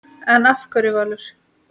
En af hverju Valur?